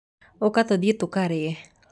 ũka tũthiĩ tũkarĩe.